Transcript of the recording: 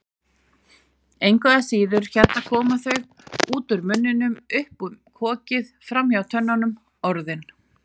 Engu að síður, hérna koma þau, út úr munninum, upp um kokið, framhjá tönnunum, Orðin.